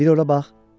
Bir ora bax!